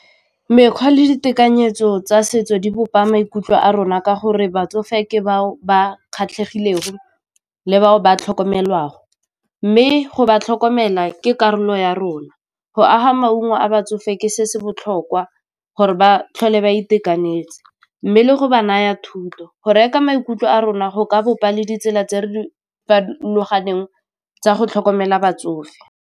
Mekgwa le ditekanyetso tsa setso di bopa maikutlo a rona ka gore batsofe ke bao ba kgatlhegele le bao ba tlhokomelwang go mme go ba tlhokomela ke karolo ya rona go aga maungo a batsofe ke se se botlhokwa gore ba tlhole ba itekanetse mme le go ba naya thuto, go reka maikutlo a rona go ka bopa le ditsela tse di farologaneng tsa go tlhokomela batsofe.